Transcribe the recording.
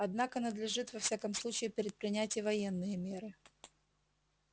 однако надлежит во всяком случае предпринять и военные меры